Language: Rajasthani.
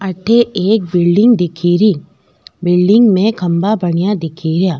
अठे एक बिल्डिंग दिखेरी बिल्डिंग में खम्भा बनया दिखेरा।